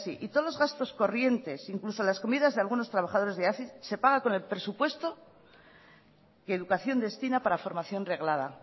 hazi y todos los gastos corrientes incluso las comidas de algunos trabajadores de hazi se paga con el presupuesto que educación destina para formación reglada